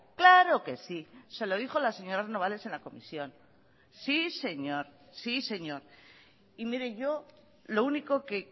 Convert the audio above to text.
claro que sí se lo dijo la señora renobales en la comisión sí señor sí señor y mire yo lo único que